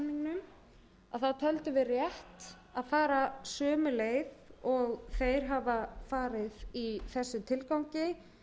samningnum þá töldum við rétt að fara sömu leið og þeir hafa farið í þessum tilgangi